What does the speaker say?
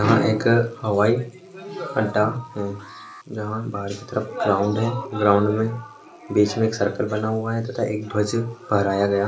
यहा एक हवाई अड्डा है यहा पर ग्राउंड है ग्राउंड मे बिच मे एक सर्कल बना हुआ है तथा एक ध्वज पहराया गया --